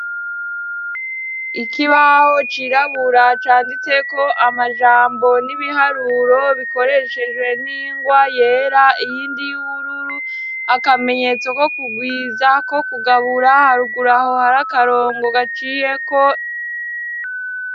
Ikibaho cirabura canditse ko amajambo n'ibiharuro bikoreshejwe n'ingwa yera iyindi y'ubururu akamenyetso ko kugwiza ko kugabura haruguru aho hari akarongo gaciyeko.